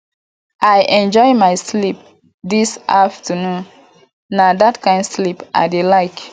i enjoy my sleep dis afternoon na dat kin sleep i dey like